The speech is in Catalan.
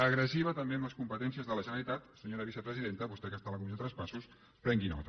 agressiva també amb les competències de la generalitat senyora vicepresidenta vostè que està a la comissió de traspassos prengui’n nota